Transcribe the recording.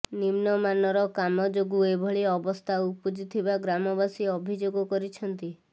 ନିମ୍ନମାନର କାମ ଯୋଗୁଁ ଏଭଳି ଅବସ୍ଥା ଉପୁଜିଥିବା ଗ୍ରାମବାସୀ ଅଭିଯୋଗ କରିଛନ୍ତି